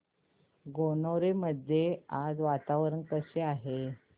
गणोरे मध्ये आज वातावरण कसे आहे